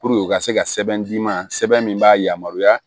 u ka se ka sɛbɛn d'i ma sɛbɛn min b'a yamaruya